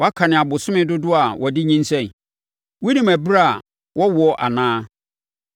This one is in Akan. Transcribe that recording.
Woakane abosome dodoɔ a wɔde nyinsɛn? Wonim ɛberɛ a wɔwoɔ anaa?